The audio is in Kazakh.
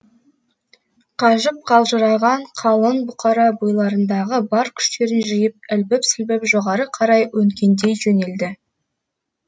қажып қалжыраған қалың бұқара бойларындағы бар күштерін жиып ілбіп сілбіп жоғары қарай өңкеңдей жөнелді